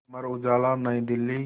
Amar Ujala New Delhi